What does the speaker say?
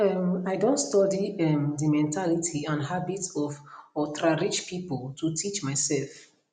um i don study um di mentality and habits of ultrarich pipo to teach myself